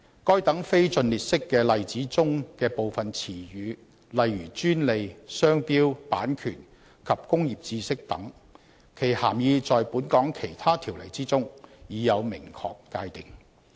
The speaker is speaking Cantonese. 該等非盡列式的例子中的部分詞語，例如"專利"、"商標"、"版權"及"工業知識"等，其涵義在本港其他條例之中已有明確界定。